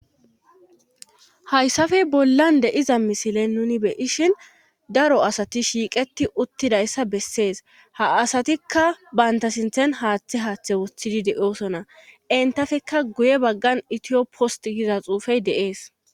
Hayssafey bollan deiza misilen nuni beyishin daro asati shiiqeti uttidayssa bessees ha asatikka banta sinthen haaththe haaththe wuthidi deosona entafekka guye baggan itiyoppost giza xuufey deees.